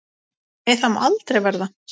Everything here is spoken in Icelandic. Nei, það má aldrei verða.